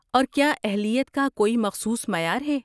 اور کیا اہلیت کا کوئی مخصوص معیار ہے؟